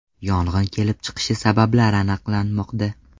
Yong‘in kelib chiqish sababi aniqlanmoqda.